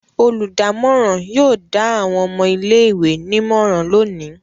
Olùdámọ̀ràn yóò dá àwọn ọmọ ilé-ìwé nímọ̀ràn lónìí.